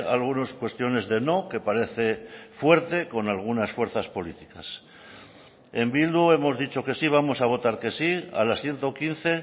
algunas cuestiones de no que parece fuerte con algunas fuerzas políticas en bildu hemos dicho que sí vamos a votar que sí a las ciento quince